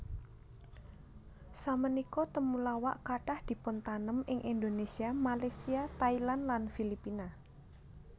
Samenika temulawak kathah dipuntanem ing Indonesia Malaysia Thailand lan Filipina